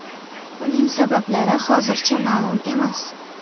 Uning sabablari hozircha ma’lum emas.